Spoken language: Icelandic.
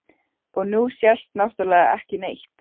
Og nú sést náttúrlega ekki neitt.